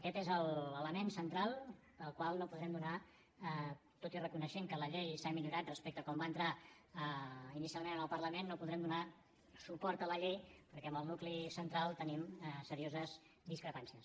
aquest és l’element central pel qual tot i reconèixer que la llei s’ha millorat respecte a com va entrar inicialment al parlament no podrem donar suport a la llei perquè en el nucli central tenim serioses discrepàncies